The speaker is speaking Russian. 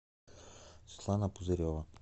светлана пузырева